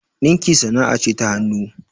ɗinki sana'ce ta hanuu